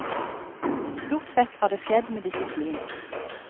Stort sett har det skjedd med disiplin.